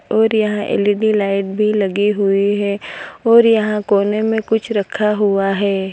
और यहां L E D light भी लगी हुई है और यहां कोने में कुछ रखा हुआ है।